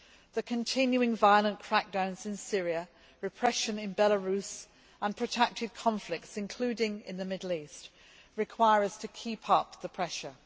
The continuing violent crackdowns in Syria, repression in Belarus, and protracted conflicts, including in the Middle East, require us to keep up the pressure.